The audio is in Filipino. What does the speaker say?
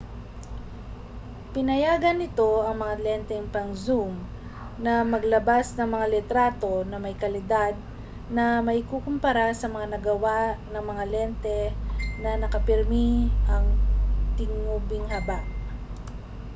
pinayagan nito ang mga lenteng pang-zoom na maglabas ng mga litrato na may kalidad na maikukumpara sa mga nagawa ng mga lente na nakapirmi ang tingubing haba